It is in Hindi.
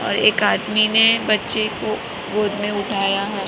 और एक आदमी ने बच्चे को गोद में उठाया है।